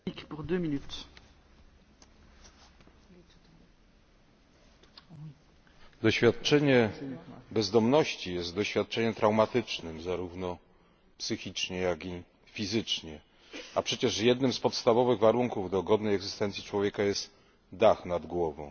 Pani Przewodnicząca! Doświadczenie bezdomności jest doświadczeniem traumatycznym, zarówno psychicznie, jak i fizycznie, a przecież jednym z podstawowych warunków godnej egzystencji człowieka jest dach nad głową.